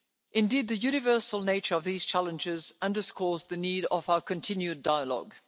Indeed, the universal nature of these challenges underscores the need for our continued dialogue.